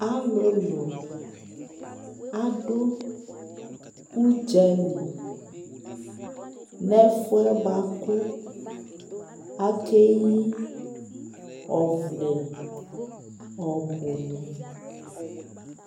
alʋlʋ adʋ ʋdzali nʋ ɛƒʋɛ bʋakʋ akɛyi ɔvlɛ ɔbʋ ni